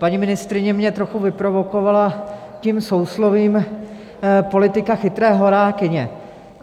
Paní ministryně mě trochu vyprovokovala tím souslovím "politika chytré horákyně".